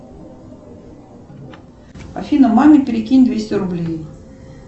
афина маме перекинь двести рублей